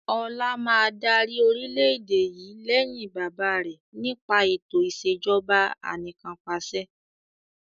Ọlá máa dárí orìlẹ̀dé yìí lẹ́yìn bàbá rẹ̀ nípa eto ìsèjọba anìkanpàṣẹ